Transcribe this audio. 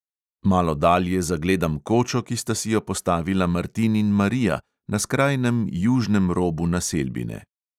Malo dalje zagledam kočo, ki sta si jo postavila martin in marija na skrajnem južnem robu naselbine.